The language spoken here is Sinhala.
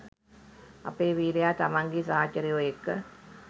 අපේ වීරයා තමන්ගේ සහචරයෝ එක්ක